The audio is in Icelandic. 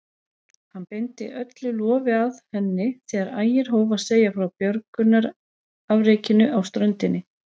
Hann beindi öllu lofi að henni þegar Ægir hóf að segja frá björgunarafrekinu á ströndinni.